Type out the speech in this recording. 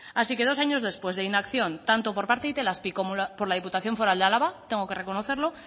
así que dos años después de inacción tanto por parte de itelazpi como por la diputación foral de álava tengo que reconocerlo